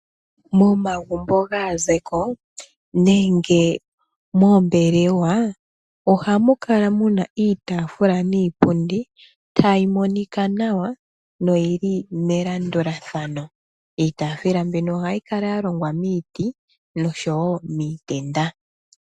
Momagumbo gaazeko nenge moombelewa, oha mu kala mu na iitaafula niipundi ta yi monika nawa , noyi li melandulathano. Iitaafula mbino oha yi kala ya longwa miiti, nosho wo miitenda.